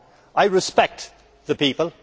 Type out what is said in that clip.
I respect the people.